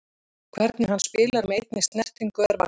Hvernig hann spilar með einni snertingu er magnað.